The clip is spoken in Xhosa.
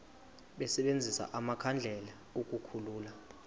basebenzise amakhandlela ukukhulula